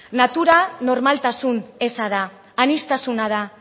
natura normaltasun eza da aniztasuna da